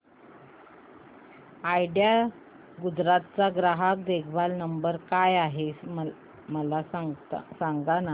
idea Gujarat चा ग्राहक देखभाल नंबर काय आहे मला सांगाना